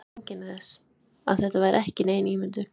Ég fann öll einkenni þess, að þetta væri ekki nein ímyndun.